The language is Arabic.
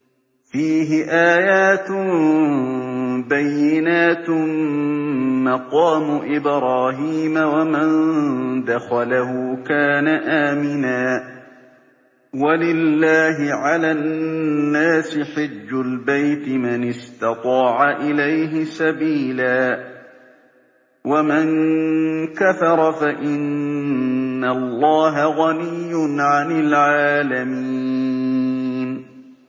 فِيهِ آيَاتٌ بَيِّنَاتٌ مَّقَامُ إِبْرَاهِيمَ ۖ وَمَن دَخَلَهُ كَانَ آمِنًا ۗ وَلِلَّهِ عَلَى النَّاسِ حِجُّ الْبَيْتِ مَنِ اسْتَطَاعَ إِلَيْهِ سَبِيلًا ۚ وَمَن كَفَرَ فَإِنَّ اللَّهَ غَنِيٌّ عَنِ الْعَالَمِينَ